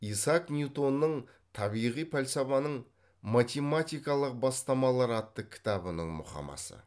исаак ньютонның табиғи пәлсапаның математикалық бастамалары атты кітабының мұқамасы